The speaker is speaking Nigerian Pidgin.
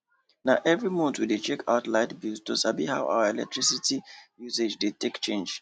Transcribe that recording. na every month we dey check out light bill to sabi how our electricity usage take dey change